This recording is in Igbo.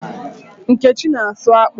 Nkechi na-asụ akpụ